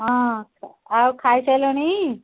ହଁ କଣ ଖାଇ ସାଇଲଣି